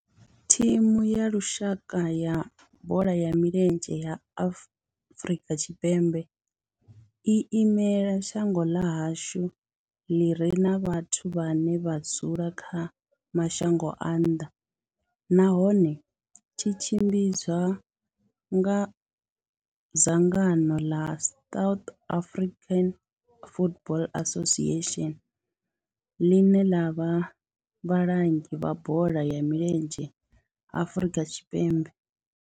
Thimu ya lushaka ya bola ya milenzhe ya Afrika Tshipembe i imela shango ḽa hashu ḽi re na vhathu vhane vha dzula kha mashango a nnḓa nahone tshi tshimbidzwa nga dzangano ḽa South African Football Association, ḽine ḽa vha vhalangi vha bola ya milenzhe Afrika Tshipembe.